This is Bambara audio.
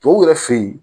Tɔw yɛrɛ fe ye